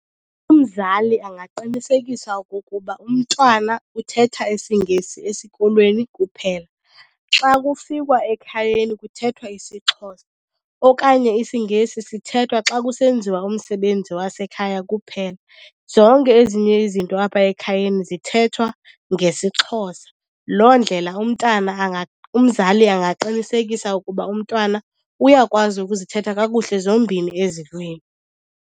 Umzali angaqinisekisa okokuba umntwana uthetha isiNgesi esikolweni kuphela, xa kufikwa ekhayeni kuthethwa isiXhosa. Okanye isiNgesi sithethwa xa kusenziwa umsebenzi wasekhaya kuphela, zonke ezinye izinto apha ekhayeni zithethwa ngesiXhosa. Loo ndlela umntana , umzali angaqinisekisa ukuba umntwana uyakwazi ukuzithetha kakuhle zombini ezi lwimi.